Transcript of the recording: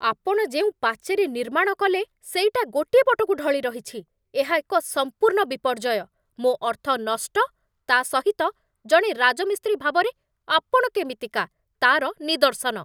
ଆପଣ ଯେଉଁ ପାଚେରୀ ନିର୍ମାଣ କଲେ, ସେଇଟା ଗୋଟିଏ ପଟକୁ ଢଳିରହିଛି, ଏହା ଏକ ସମ୍ପୂର୍ଣ୍ଣ ବିପର୍ଯ୍ୟୟ, ମୋ ଅର୍ଥ ନଷ୍ଟ, ତା' ସହିତ ଜଣେ ରାଜମିସ୍ତ୍ରୀ ଭାବରେ ଆପଣ କେମିତିକା ତା'ର ନିଦର୍ଶନ।